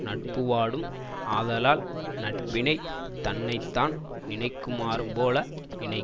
நட்புவாடும் ஆதலால் நட்பினைத் தன்னை தான் நினைக்குமாறுபோல நினைக்க